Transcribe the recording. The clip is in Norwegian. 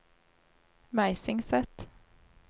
Meisingset